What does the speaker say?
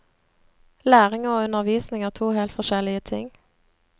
Læring og undervisning er to helt forskjellige ting.